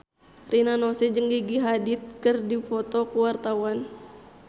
Rina Nose jeung Gigi Hadid keur dipoto ku wartawan